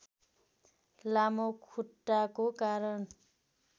लामो खुट्टाको कारण